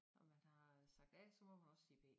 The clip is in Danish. Når man har sagt A så må man også sige B